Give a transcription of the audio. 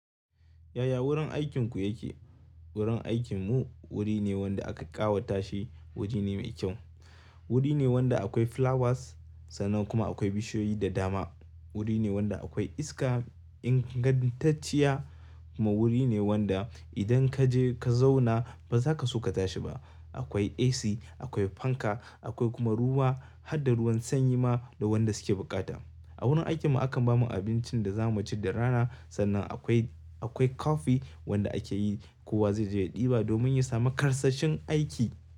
Yaya wurin aikinku yake? Wurin aikinmu wuri ne wanda aka ƙawata shi wuri ne mai kyau. Wuri ne wanda akwai flowers sannan kuma akwai bishiyoyi da dama. Wuri ne wanda akwai iska ingantacciya kuma wuri ne wanda idan kaje ka zauna ba zaka so ka tashi ba. Akwai AC akwai fanka akwai kuma ruwa harda ruwan sanyi ma da wanda suke buƙata. A wurin aikin mu akan bamu abincin da zamu ci da rana sannan akwai akwai kofi wanda ake yi kowa zai je ya ɗiba domin ya samu karsashin aiki.